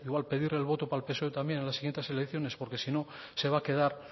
igual pedir el voto para el psoe también en las siguientes elecciones porque si no se va a quedar